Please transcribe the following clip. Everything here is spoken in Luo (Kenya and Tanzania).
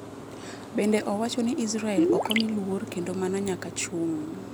bende owacho ni israel okomi luor kendo mano nyaka chung